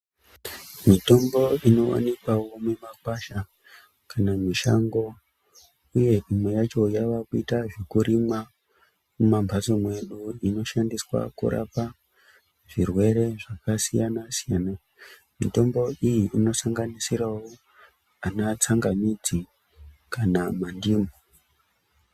Mitombo inowanikwawo mumakwasha, kana mushango uye imwe yacho yavakuitwa zvekurimwa mumambatso mwedu inoshandiswa kurapa zvirwere zvakasiyana siyana mitombo iyi inosanganisirawo ana tsangamidzi kana mandimu.